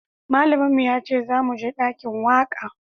Malamin mu ya ce za mu je dakin waka